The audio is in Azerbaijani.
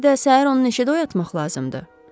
Bir də səhər onu neçədə oyatmaq lazımdır.